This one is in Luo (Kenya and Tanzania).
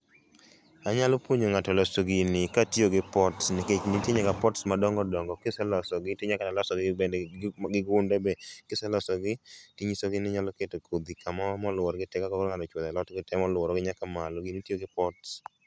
Anyalo puonjo ngato loso gini katiyo gi pot nikech nitie nyaka pots[sc] madongo dongo ,kiselosogi tinya kata losogi gi gunde be, kiselogsogi tinyisogi ninyalo keto kodhi kamoro moluoro gi tee kaka koro ineno ka ng'ani ochwero alot gi tee moluoro gi nyaka malo gini itiyo gi pots